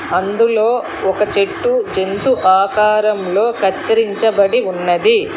అందులో ఒక చెట్టు జంతు ఆకారంలో కత్తిరించబడి ఉన్నది.